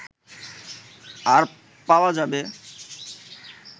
আর পাওয়া যাবে